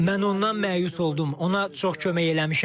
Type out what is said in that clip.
Mən ondan məyus oldum, ona çox kömək eləmişəm.